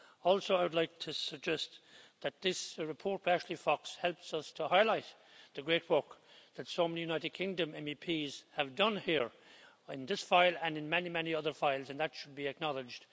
Also, I would like to suggest that this report by Ashley Fox helps us to highlight the great work that so many United Kingdom MEPs have done here, in this file and in many, many other files, and that should be acknowledged.